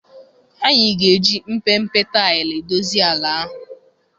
Anyị ga-eji mpempe taịlị dozie ala ahụ.